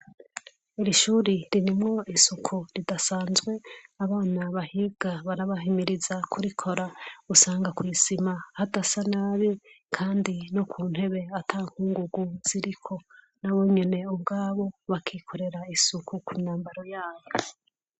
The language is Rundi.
Iri shuri ririmwo isuku ridasanzwe, abana bahinga barabahimiriza kuri Kora usanga kwisima hadasa nabi kandi no kuntebe atankungugu ziriko nabonyene ubwabo bakikorera isuku kumyambaro yabo.